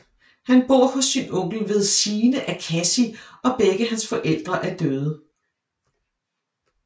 Han bor hos sin onkel ved sine af Cassie og begge hans forældre er døde